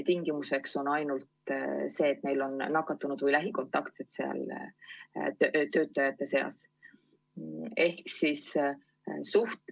Tingimuseks on ainult see, et neil on töötajate seas nakatunuid või lähikontaktseid.